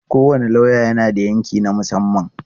Kowane lauya yana da yanki na musamman.